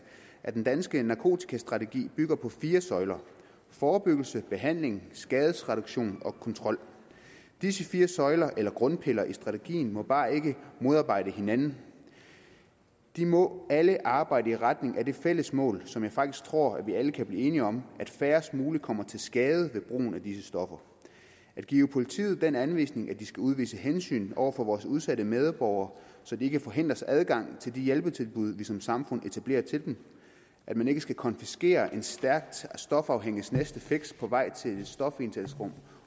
at den danske narkotikastrategi bygger på fire søjler forebyggelse behandling skadesreduktion og kontrol disse fire søjler eller grundpiller i strategien må bare ikke modarbejde hinanden de må alle arbejde i retning af det fælles mål som jeg faktisk tror at vi alle kan blive enige om at færrest mulige kommer til skade ved brugen af disse stoffer at give politiet den anvisning at de skal udvise hensyn over for vores udsatte medborgere så de ikke forhindres adgang til de hjælpetilbud vi som samfund etablerer til dem at man ikke skal konfiskere en stærkt stofafhængigs næste fix på vej til et stofindtagelsesrum